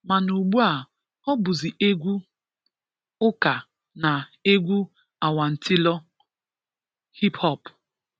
Mana ugbua, ọ bụzị, egwu ụka na egwu awantịlọ (hiphop)